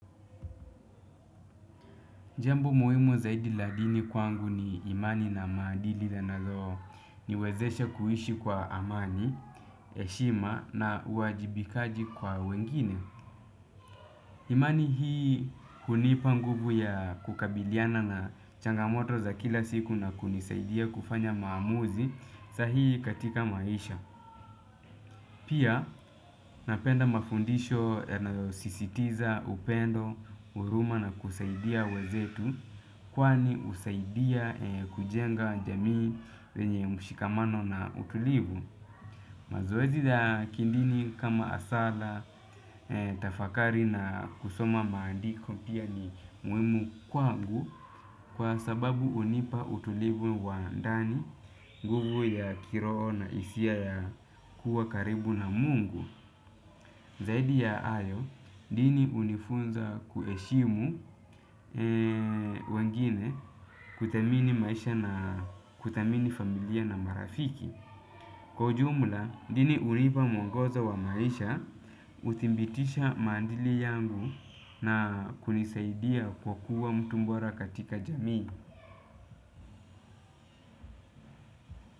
Jambo muhimu zaidi la dini kwangu ni imani na maadili yanayoniwezesha kuishi kwa amani, heshima na uwajibikaji kwa wengine. Imani hii hunipa nguvu ya kukabiliana na changamoto za kila siku na kunisaidia kufanya maamuzi sahihi katika maisha. Pia napenda mafundisho yanayosisitiza upendo, huruma na kusaidia wenzetu kwani husaidia kujenga jamii yenye mshikamano na utulivu. Mazoezi ya kidini kama sala, tafakari na kusoma maandiko pia ni muhimu kwangu kwa sababu hunipa utulivu wa ndani nguvu ya kiroho na hisia ya kuwa karibu na mungu. Zaidi ya hayo, dini hunifunza kuheshimu wengine kuthamini maisha na kuthamini familia na marafiki. Kwa ujumla, dini hunipa mwongozo wa maisha, huthibitisha maadili yangu na kunisaidia kwa kuwa mtu bora katika jamii.